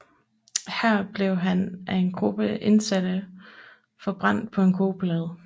Her blev han af en gruppe indsatte forbrændt på en kogeplade